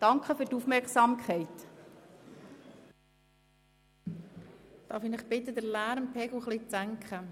Darf ich Sie bitten, den Lärmpegel etwas zu senken?